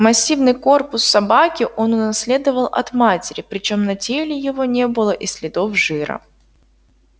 массивный корпус собаки он унаследовал от матери причём на теле его не было и следов жира